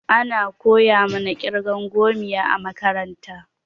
Ana koya mana ƙirgan gomiya a makaranta.